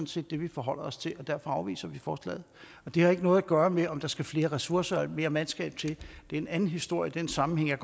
set det vi forholder os til og derfor afviser vi forslaget det har ikke noget at gøre med om der skal flere ressourcer og mere mandskab til det er en anden historie i den sammenhæng jeg